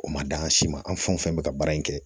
O ma d'an si ma an fɛn o fɛn bɛ ka baara in kɛ